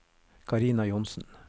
Carina Johnsen